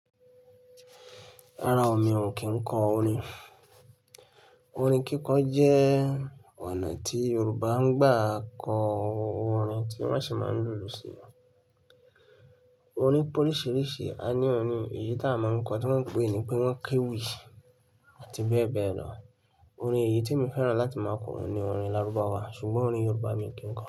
Rárá o mi ò kí n kọ orin. Orin kíkọ jẹ́ ọ̀nà tí Yorùbá ń gbà kọ orin tí wọ́n sì máa ń lùlù sí i. Orin pé oríṣiríṣi, a ní òrín èyí tá a máa ń kọ tí wọ́n ń pè ní pé wọ́n kéwì àti bẹ́ẹ̀ bẹ́ẹ̀ lọ. Orin èyí tí mo fẹ́ràn láti máa kọ orin ni orin Lárúbáwá ṣùgbọ́n orin Yorùbá mi ò kí n kọ.